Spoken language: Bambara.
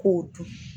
K'o dun